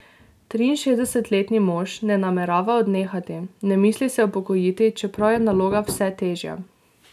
Triinšestdesetletni mož ne namerava odnehati, ne misli se upokojiti, čeprav je naloga vse težja.